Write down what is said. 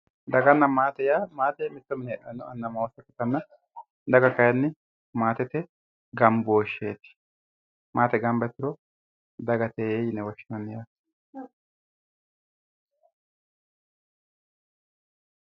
Daganna maate yaa, maate mitto mine heedhanotta amanna anna ikkittanna ,daga kayinni maatete gambosheti, maate gamba yituro dagate yinne woshshinanni yaate